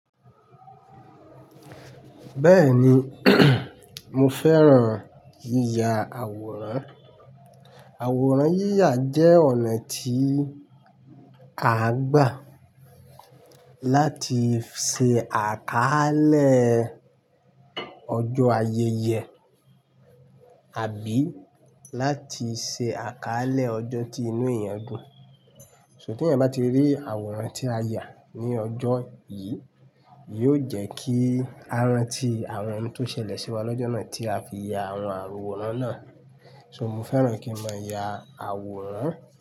Bẹ́ẹ̀ni, mo fẹ́ran yíya àwòrán. Àwòrán yíya jẹ́ ọ̀nà tí à ń gbà láti ṣe àkaálẹ̀ ọjọ́ ayẹyẹ àbí láti ṣe àkaálẹ̀ ọjọ́ tí inú èèyàn dùn. So, tí ẹ̀yań bá ti rí àwòrán tí a yà ní ọjọ́ yìí, yóò jẹ́ kí a ranti àwọn ohun tó ṣẹlẹ̀ sí wa lọ́jọ́ náà tí a fi ya àwọn àwòrán náà. So, mo fẹ́ran kí n mo yà àwòrán.